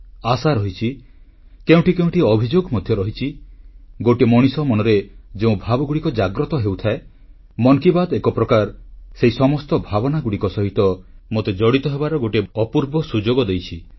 ମନ୍ କି ବାତ୍ ଏକ ପ୍ରକାର ଭାରତର ଯେଉଁ ସକାରାତ୍ମକ ଶକ୍ତି ରହିଛି ଦେଶର କୋଣଅନୁକୋଣରେ ଯେଉଁ ଭାବନା ଭରି ରହିଛି ଇଚ୍ଛା ରହିଛି ଆଶା ରହିଛି କେଉଁଠି କେଉଁଠି ଅଭିଯୋଗ ମଧ୍ୟ ରହିଛି ଗୋଟିଏ ମଣିଷ ମନରେ ଯେଉଁ ଭାବଗୁଡ଼ିକ ଜାଗ୍ରତ ହେଉଥାଏ ମନ୍ କି ବାତ୍ ସେହି ସମସ୍ତ ଭାବନାଗୁଡ଼ିକ ସହ ମୋତେ ଜଡ଼ିତ ହେବାର ଗୋଟିଏ ଅପୂର୍ବ ସୁଯୋଗ ଦେଇଛି